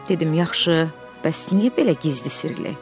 Dedim yaxşı, bəs niyə belə gizli sirli?